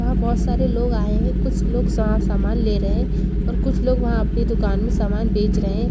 वहां बहुत सारे लोग आए हैं कुछ लोग सामान ले रहे हैं और कुछ लोग वहां अपनी दुकान में सामान बेच रहे हैं।